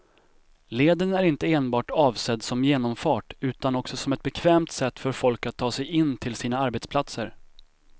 Leden är inte enbart avsedd som genomfart utan också som ett bekvämt sätt för folk att ta sig in till sina arbetsplatser.